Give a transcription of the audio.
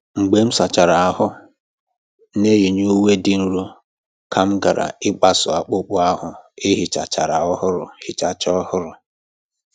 Mgbe m sachara ahụ́, m na-eyi uwe dị nro ka m ghara ịkpasu akpụkpọ ahụ e hichachara ọhụrụ. hichachara ọhụrụ.